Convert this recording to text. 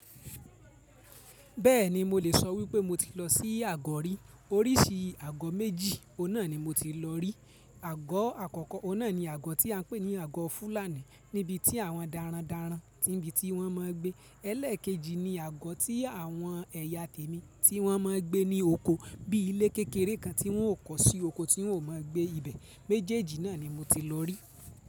Bẹ́ẹ̀ni mo lè sọ wípé mo ti lọ sí àgọ̀ rí. Oríṣi àgọ́ méjì, òun nà ni mo ti lọ rí. Àgọ́ àkọ́kọ́ òun nà ni àgọ́ tí a ń pè ní àgọ́ Fúlàní níbi tí àwọn dára dára ti ń bi, tí wọ́n mọ ń gbé. Ẹlẹ́kejì ni àgọ́ tí àwọn ẹ̀yà témì tí wọ́n mọ ń gbé ní oko, bíi ilé kékeré kan tí wọ́n o kọ̀ sí oko tí wọ́n ó mọ gbé ibẹ̀. Méjèèjì náà ni mo ti lọ rí.